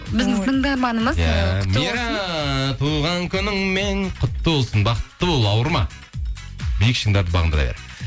біздің тыңдарманымыз иә мира туған күніңмен құтты болсын бақытты бол ауырма биік шыңдарды бағындыра бер